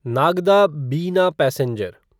नागदा बिना पैसेंजर